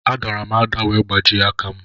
A dàrà m ada wee gbajie aka m